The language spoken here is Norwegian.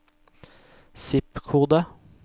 zip-kode